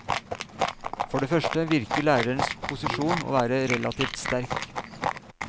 For det første virker lærerens posisjon å være relativt sterk.